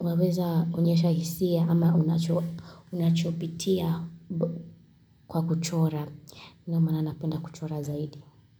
Waweza unyesha hisia Ama unachopitia kwa kuchora Ino mwana napenda kuchora zaidi.